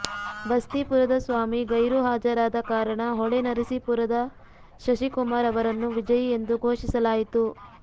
ಬಸ್ತೀಪುರದ ಸ್ವಾಮಿ ಗೈರುಹಾಜರಾದ ಕಾರಣ ಹೊಳೆ ನರಸೀಪುರದ ಶಶಿಕುಮಾರ್ ಅವರನ್ನು ವಿಜಯಿ ಎಂದು ಘೋಷಿಸಲಾಯಿತು